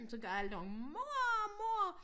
Så kaldte hun mor mor!